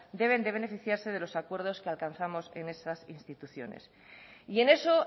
deben de beneficiarse de los acuerdos que alcanzamos en esas instituciones y en eso